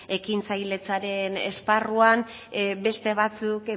ekintzailetzaren esparruan beste batzuk